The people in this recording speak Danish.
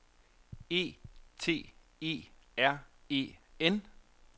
E T E R E N